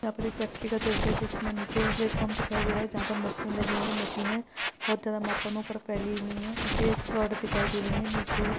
यहा पर एक फॅक्टरी का दृष्य है। जिसमे नीचे प्लेटफॉर्म दिखाई दे रहा है। जहा पर मशीन लगी हुई है। मशीने बहुत ज्यादा मात्रा में ऊपर फैली हुई है। पीछे एक रॉड दिखाई दे रही है निचे --